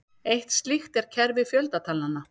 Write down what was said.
Eitt slíkt er kerfi fjöldatalnanna.